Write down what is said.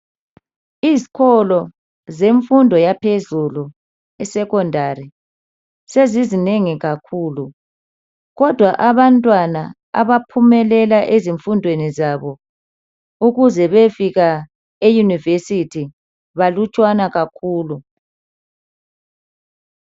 Izikolo zemfundo yaphezulu, isekhondari, sezinengi kakhulu, kodwa abantwana abaphumelela ezifundweni zabo ukuze bayefika eyunivesithi balutshwana kakhulu.